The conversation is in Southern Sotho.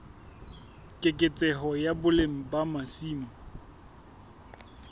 keketseho ya boleng ba masimo